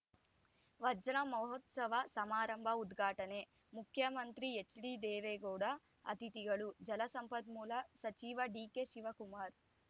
ವಜ್ರ ಮಹೋತ್ಸವ ಸಮಾರಂಭ ಉದ್ಘಾಟನೆ ಮುಖ್ಯಮಂತ್ರಿ ಎಚ್‌ಡಿದೇವೇಗೌಡ ಅತಿಥಿಗಳು ಜಲಸಂಪನ್ಮೂಲ ಸಚಿವ ಡಿಕೆಶಿವಕುಮಾರ್‌